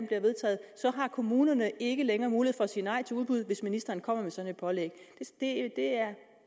bliver vedtaget har kommunerne ikke længere mulighed for at sige nej til udbud hvis ministeren kommer med et sådant pålæg det er